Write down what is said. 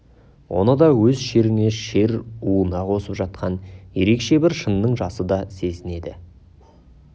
оны да өз шеріне шер уына қосып жатқан ерекше бір шынның жасы деп сезінеді